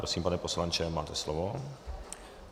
Prosím, pane poslanče, máte slovo.